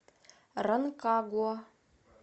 ранкагуа